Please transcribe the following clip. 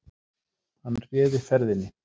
Hann réði ferðinni